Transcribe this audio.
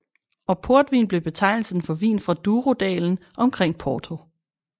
Og portvin blev betegnelsen for vin fra Douro dalen omkring Porto